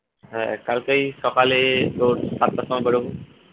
হ্যাঁ কালকে ওই সকালে সাতটা সময় বেরোবো